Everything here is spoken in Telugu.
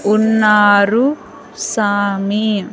ఉన్నారు సామి.